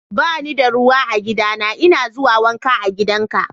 Ba ni da ruwa a gidana. N'na a zuwa wanka a gidan ka.